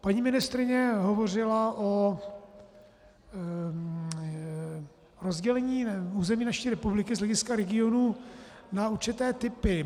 Paní ministryně hovořila o rozdělení území naší republiky z hlediska regionů na určité typy.